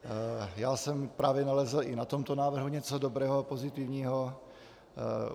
Já jsem právě nalezl i na tomto návrhu něco dobrého a pozitivního.